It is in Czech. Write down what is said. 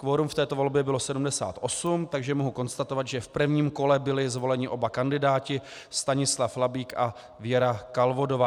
Kvorum v této volbě bylo 78, takže mohu konstatovat, že v prvním kole byli zvoleni oba kandidáti, Stanislav Labík a Věra Kalvodová.